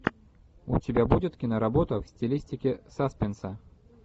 у тебя будет киноработа в стилистике саспенса